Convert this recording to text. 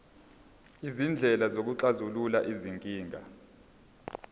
izindlela zokuxazulula izinkinga